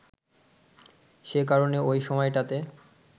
সে কারণে ঐ সময়টাতে